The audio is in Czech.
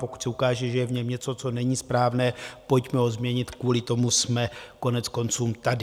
Pokud se ukáže, že je v něm něco, co není správné, pojďme ho změnit, kvůli tomu jsme koneckonců tady.